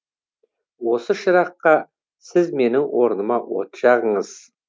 осы шыраққа сіз менің орныма от жағыңыз